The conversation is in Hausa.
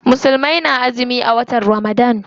Musulmai na azumi a watan Ramadan.